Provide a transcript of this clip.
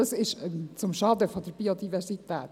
Das ist zum Schaden der Biodiversität.